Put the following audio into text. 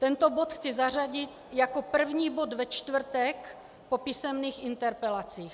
Tento bod chci zařadit jako první bod ve čtvrtek po písemných interpelacích.